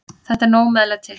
Þetta er nóg meðlæti.